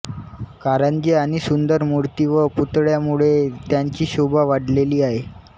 कारंजी आणि सुंदर मूर्ती व पुतळ्यांमुळे त्यांची शोभा वाढलेली आहे